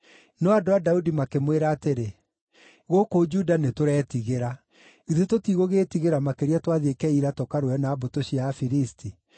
No andũ a Daudi makĩmwĩra atĩrĩ, “Gũkũ Juda nĩtũretigĩra. Githĩ tũtigũgĩĩtigĩra makĩria twathiĩ Keila tũkarũe na mbũtũ cia Afilisti!”